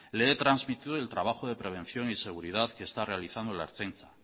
le he trasmitido el trabajo de prevención y seguridad que está realizando la ertzaintza